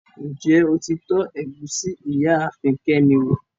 Njẹ́ o ti tọ̀ égusi Ìyaafin Kemi wo?